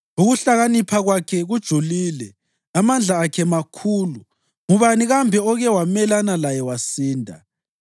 Ukuhlakanipha kwakhe kujulile, amandla akhe makhulu. Ngubani kambe oke wamelana laye wasinda?